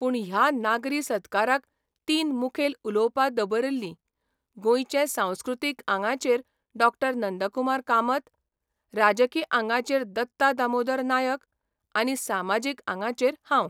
पूण ह्या नागरी सत्काराक तीन मुखेल उलोवपां दबरिल्लीं गोंयचे सांस्कृतीक आंगाचेर डॉ नंदकुमार कामत, राजकी आंगाचेर दत्ता दामोदर नायक आनी सामाजीक आंगाचेर हांव.